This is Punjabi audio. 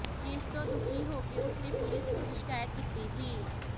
ਜਿਸ ਤੋਂ ਦੁਖੀ ਹੋ ਕਿ ਉਸ ਨੇ ਪੁਲਸ ਨੂੰ ਵੀ ਸ਼ਿਕਾਇਤ ਕੀਤੀ ਸੀ